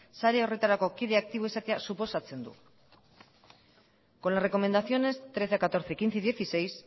sare horretarako kide aktiboa izatea suposatzen du con las recomendaciones trece catorce quince y dieciséis